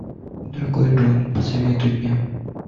дорогой джон посоветуй мне